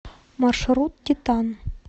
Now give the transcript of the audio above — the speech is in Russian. маршрут титан